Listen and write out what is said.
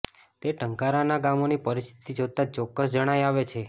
તે ટંકારાના ગામોની પરિસ્થિતિ જોતા ચોક્કસ જણાય આવે છે